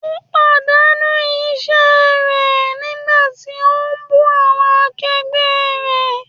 Ó pàdánù iṣẹ́ rẹ̀ nígbà tí ó ń bú awọn akẹgbẹ́ rẹ̀.